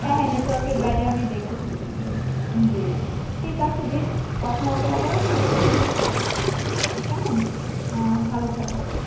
বাইরে আমি জ্বি জ্বি ঠিক আছে দীপ কথা হবে আবার অন্য কোন সময় কেমন আহ ভাল থাকবেন